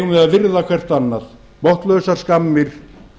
virða hvert annað botnlausar skammir